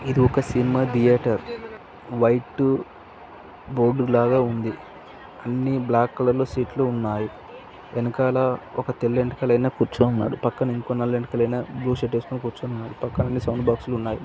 ఇది ఒక cinema theatre white board లాగా ఉంది. అన్ని బ్లాక్ కలర్ లో స్ట్ ఉన్నాయి. వెనకాల ఒక తెల్ల వెంట్రుకల అయన కూర్చొన్నాడు. పక్కన ఇంకో నల్ల వెంట్రుకల అయన బ్లూ షర్ట్ వేసుకుని కూర్చొన్నాడు. పక్కన అన్ని సౌండ్ బాక్సులు ఉన్నాయి లైట్స్ .